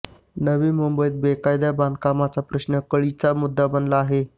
नवी मुंबईत बेकायदा बांधकामांचा प्रश्न कळीचा मुद्दा बनला आहे